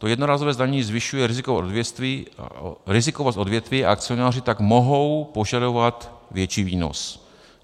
To jednorázové zdanění zvyšuje rizikovost odvětví a akcionáři tak mohou požadovat větší výnos.